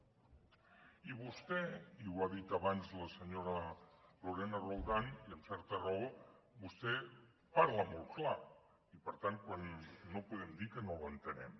i vostè i ho ha dit abans la senyora lorena roldán i amb certa raó parla molt clar i per tant no podem dir que no l’entenem